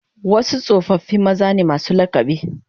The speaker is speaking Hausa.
Wasu tsofaffi maza ne masu lakabi